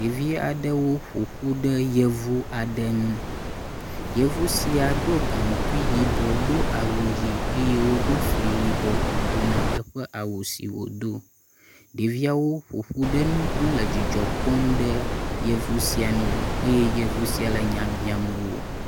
Ɖevi aɖewo ƒoƒu ɖe yevu aɖe ŋu, yevu sia ɖo gaŋkui yibɔ, do awu ʋɛ̃ eye woɖo fli yibɔ eto ne eƒe awu si wòdo. Ɖeviawo ƒoƒu ɖe ŋu hele dzidzɔ kpɔm ɖe yevu sia nu eye yeu sia le nya biam wo.